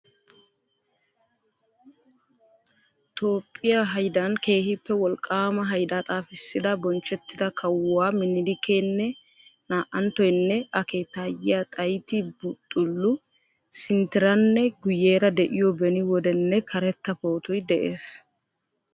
Toophphiya haydan keehippe wolqqaama hayddaa xaafissida bonchchettida kawuwaa Minilkeenne naa'anttoynne a keettayiyaa Xayiti Bixxulu .sinttiranne guyeera de'iyo beni wodenne karetta pootoy dees.